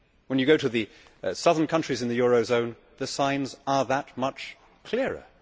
When you go to the southern countries in the euro zone, the signs are that much clearer.